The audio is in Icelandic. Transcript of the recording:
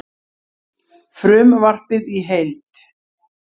Frumvarpið í heild